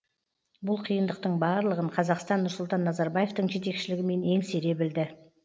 бұл қиындықтың барлығын қазақстан нұрсұлтан назарбаевтың жетекшілігімен еңсере білді